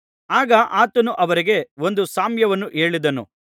ಆಗ ಆತನು ಅವರಿಗೆ ಒಂದು ಸಾಮ್ಯವನ್ನು ಹೇಳಿದನು